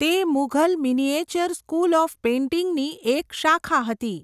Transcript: તે 'Mughal miniature school of પેઇન્ટિંગ'ની એક શાખા હતી.